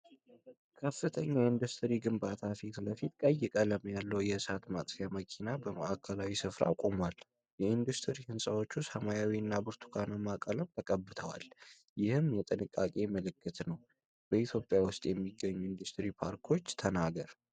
ከፍተኛ የኢንዱስትሪ ግንባታዎች ፊት ለፊት ቀይ ቀለም ያለው የእሳት ማጥፊያ መኪና በማዕከላዊ ስፍራ ቆሟል። የኢንዱስትሪ ህንፃዎቹ ሰማያዊ እና ብርቱካናማ ቀለሞች ተቀብተዋል፤ ይህም የጥንቃቄ ምልክት ነው። በኢትዮጵያ ውስጥ የሚገኙ የኢንዱስትሪ ፓርኮች ተናገር?